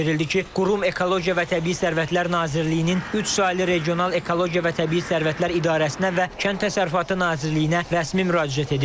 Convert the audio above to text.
Bildirildi ki, qurum Ekologiya və Təbii Sərvətlər Nazirliyinin üç saylı Regional Ekologiya və Təbii Sərvətlər İdarəsinə və Kənd Təsərrüfatı Nazirliyinə rəsmi müraciət edib.